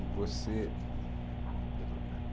E você... Vai trocar.